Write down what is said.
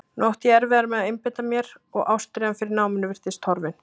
Nú átti ég erfiðara með að einbeita mér og ástríðan fyrir náminu virtist horfin.